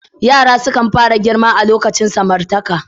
Yara kan fara girma a lokacin samartaka.